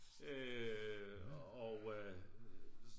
Øh og øh